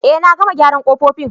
Eh, na gama gyaran kofofin.